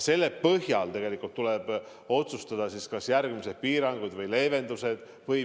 Selle põhjal tuleb otsustada, kas tulevad järgmised piiranguid või leevendused.